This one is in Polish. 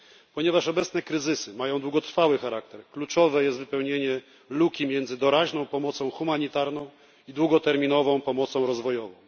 Ponieważ obecne kryzysy mają długotrwały charakter, kluczowe jest wypełnienie luki między doraźną pomocą humanitarną i długoterminową pomocą rozwojową.